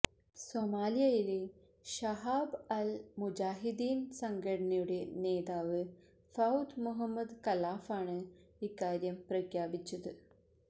സൊമാലിയയിലെ Shabab al Mujahideen സംഘടനയുടെ നേതാവ് Fuad Mohamed ഖലാഫാണ് ഇക്കാര്യം പ്രഖ്യാപിച്ചത്